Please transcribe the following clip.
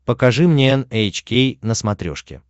покажи мне эн эйч кей на смотрешке